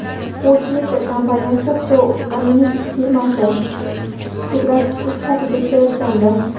U Twitter kompaniyasida Pro Unlimited firmasi pudratchisi sifatida ishlayotgandi.